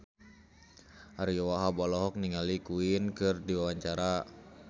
Ariyo Wahab olohok ningali Queen keur diwawancara